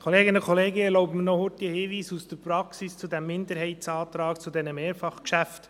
Ich erlaube mir noch kurz einen Hinweis aus der Praxis zu diesem Minderheitsantrag zu diesen Mehrfachgeschäften.